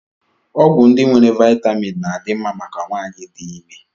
Ọgwụ ndị nwere vitamin na-adị mma maka nwanyị dị ime